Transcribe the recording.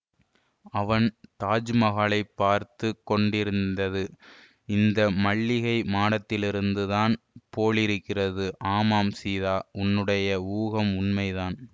அவன் தாஜ்மகாலை பார்த்து கொண்டேயிருந்தது இந்த மல்லிகை மாடத்திலிருந்து தான் போலிருக்கிறது ஆமாம் சீதா உன்னுடைய ஊகம் உண்மைதான்